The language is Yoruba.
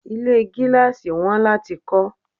Ilé gíláàsì wọn láti kó